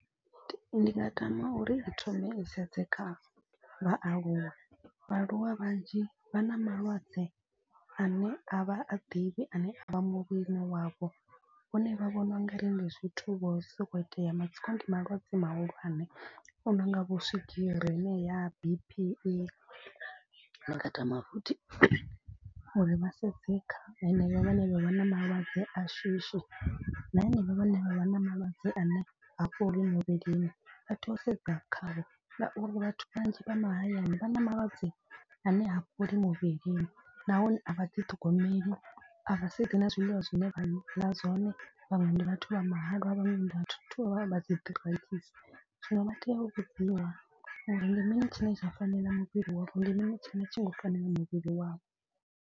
Ndi nga tama uri i thome i sedze kha vhaaluwa, vhaaluwa vhanzhi vha na malwadze ane a vha a ḓivhi ane a vha muvhilini wavho. Vhone vha vhona u nga ri ndi zwithu vho sokou itea matsiko ndi malwadze mahulwane u no nga vho swigiri heneya B_P. Ndi nga tama futhi uri vha sedze kha heneyo vhane vha vha na malwadze a shishi. Na henevho vhane vha vha na malwadze a ne ha fholi muvhilini vha tea u sedza khavho. Ngauri vhathu vhanzhi vha mahayani vha na malwadze a ne ha fholi muvhilini. Nahone a vha ḓi ṱhogomeli a vha sedzi na zwiḽiwa zwine vha ḽa zwone vhaṅwe ndi vhathu vha mahalwa vhaṅwe vhathu vha dzi . Zwino vha tea u vhudziwa uri ndi mini tshine tsha fanela muvhili wavho ndi mini tshine a tshi ngo fanela muvhili wavho.